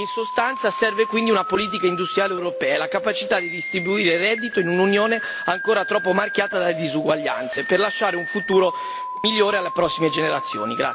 In sostanza serve quindi una politica industriale europea, la capacità di distribuire reddito in un'Unione ancora troppo marchiata dalle disuguaglianze per lasciare un futuro migliore alle prossime generazioni.